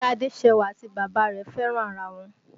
Ìyá Adéṣẹwà àti bàbá rẹ̀ fẹ́ràn ara wọn